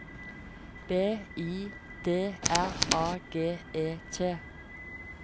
B I D R A G E T